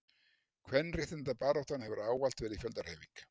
Kvenréttindabaráttan hefur ávallt verið fjöldahreyfing.